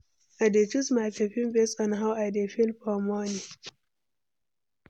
I dey choose my perfume based on how I dey feel for morning.